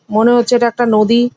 মনে হচ্ছে এটা একটা নদী।